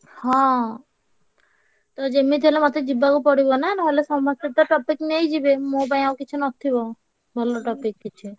ହଁ ତ ଯେମିତି ହେଲେ ମତେ ଯିବାକୁ ପଡିବ ନା ନହେଲେ ସମସ୍ତେ ତ topic ନେଇଯିବେ ମୋ ପାଇଁ ଆଉ କିଛି ନ ଥିବ ଭଲ topic କିଛି।